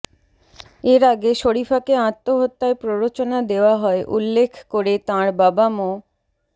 এর আগে শরীফাকে আত্মহত্যায় প্ররোচনা দেওয়া হয় উল্লেখ করে তাঁর বাবা মো